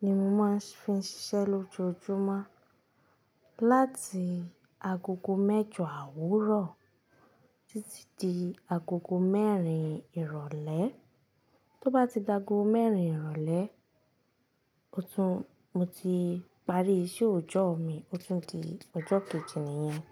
ni mo máa ń fi ń ṣiṣẹ́ lójoójúmọ́. Láti agogo mẹ́jọ àwúrọ̀ títí di agogo mẹ́rin ìrọ̀lẹ́. Tó bá ti dagoo mẹ́rin ìrọ̀lẹ́, o to, mo ti parí iṣẹ́ òòjọ́ mi, ó tun di ọjọ́ kejì nìyẹn.